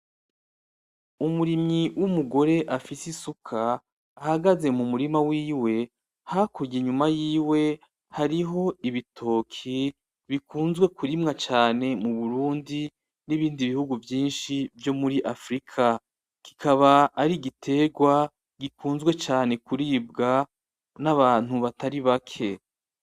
Umurimyi w’umugore afise isuka ahagaze mu murima wiwe, hakurya inyuma yiwe hariho ibitoke bikunzwe kurimwa cane mu Burundi n’ibindi bihugu vyinshi vyo muri Afrika kikaba ari igiterwa gikunzwe cane kuribwa n’abantu batari bake.